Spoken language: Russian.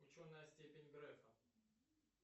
ученая степень грефа